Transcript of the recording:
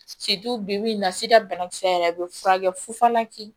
bi bi in na sida banakisɛ yɛrɛ a bɛ furakɛ fufalaki